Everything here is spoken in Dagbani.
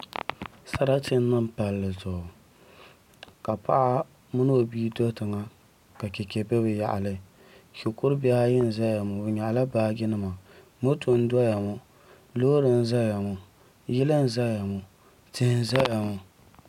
Sarati n niŋ palli zuɣu ka paɣa mini o bia do tiŋa ka chɛchɛ bɛ bi yaɣali shikuru bihi ayi n ʒɛya ŋo bi nyaɣala baaji nima moto n doya ŋo loori n ʒɛya ŋo yili n ʒɛya ŋo tihi n ʒɛya maa